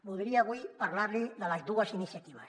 voldria avui parlar li de les dues iniciatives